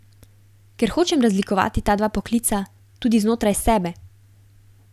Ker hočem razlikovati ta dva poklica, tudi znotraj sebe.